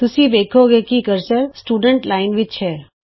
ਤੁਸੀਂ ਵੇਖੋਗੇ ਕਿ ਕਰਸਰ ਸਟੂਡੈਂਟ ਵਿਦਿਆਰਥੀ ਲਾਈਨ ਵਿੱਚ ਹੈ